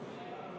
Hea ettekandja!